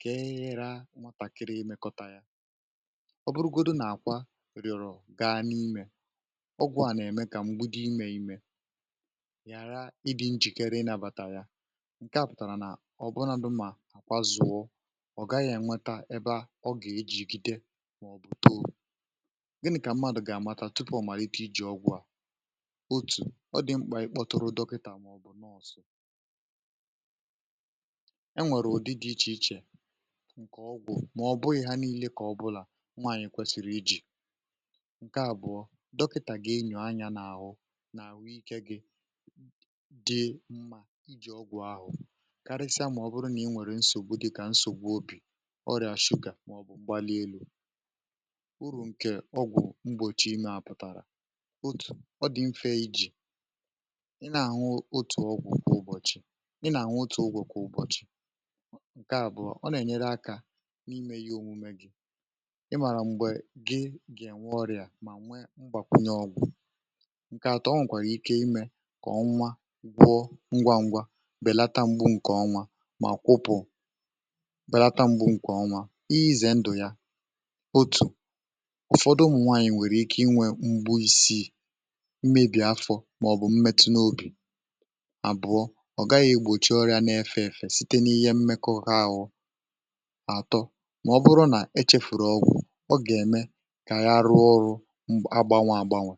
kè ehira mwatàkịrị imekọtà ya ọ bụrụgodu nà àkwa rịọrọ̀ gaa n’imė ọgwụ̇ à nà-ème kà mgbudi imė imė ghàra ịdị̇ njìkere ị nȧbàtà ya ǹke à pụ̀tàrà nà ọ bụrụnȧdụ̀ mà àkwa zụ̀wọ ọ̀ gaghị̇ ènweta ebe a ọ gà-ejìgide màọ̀bụ̀ too gini̇ kà mmadụ̀ gà àmatà tupu ọ̀ màrà ito iji̇ ọgwụ̇ à otù ọ dị̀ mkpà ikpọtụrụ dọkịtà enwèrè ụ̀dị dị ichè ichè ǹkè ọgwụ̀ um mà ọ̀ bụghị̇ ha niilė kà ọbụlà nwaànyị̀ kwesìrì iji̇ ǹkè àbụ̀ọ dọkịtà gà-enyo anyȧ n’àhụ n’àhụ ikė gị dị mma iji̇ ọgwụ̀ ahụ̀ karịsịa màọbụrụ nà i nwèrè nsògbu dịkà nsògbu obì ọrịà shụkà màọbụ̀ mgbali elu̇ uru̇ ǹkè ọgwụ̀ mgbòchi imė apụ̀tàrà otù ọ dị̀ mfe iji̇ ị nà nwa otù ogwù kwa ụbọ̀chị̀ ǹke àbụọ ọ nà-ènyere akȧ n’ime ihe òmume gị̇ ị màrà m̀gbè gị gà-ènwe ọrịà mà nwee mbàkwunye ọgwụ̀ ǹke àtọ um ọ nwèkwàrà ike imė kà ọ nwa gwụ ngwa ngwa bèlata m̀gbè ǹkè ọnwa mà kwụpụ̀ bèlata m̀gbè ǹkè ọnwa izè ndụ̀ ya otù ụ̀fọdụ ụmụ̀nwaanyị̀ nwèrè ike inwė mgbu isii mmebì afọ̇ màọ̀bụ̀ mmetụ n’obì site n’ihe mmekọ ha gụ̀ atọ màọbụrụ nà e chefùrù ọgwụ̀ um ọ gà-ème kà ya rụọ ọrụ agbanwe agbanwe